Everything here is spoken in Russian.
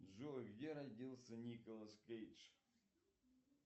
джой где родился николас кейдж